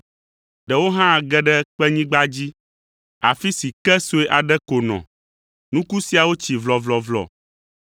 Ɖewo hã ge ɖe kpenyigba dzi, afi si ke sue aɖe ko nɔ; nuku siawo tsi vlɔvlɔvlɔ,